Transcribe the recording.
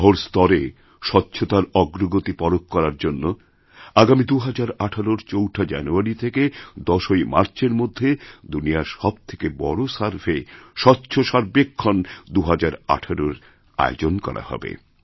শহর স্তরে স্বচ্ছতার অগ্রগতি পরখ করারজন্য আগামী ২০১৮র ৪ঠা জানুয়ারি থেকে ১০ই মার্চের মধ্যে দুনিয়ার সব থেকে বড় সার্ভে স্বচ্ছসর্বেক্ষণ ২০১৮র আয়োজন করা হবে